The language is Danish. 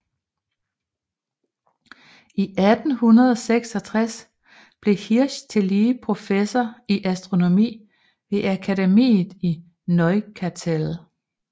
I 1866 blev Hirsch tillige professor i astronomi ved Akademiet i Neuchâtel